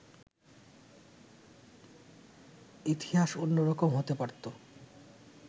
ইতিহাস অন্যরকম হতে পারত